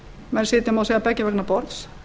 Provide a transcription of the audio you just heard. menn sitja má segja beggja vegna borðs